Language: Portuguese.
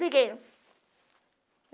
Liguei.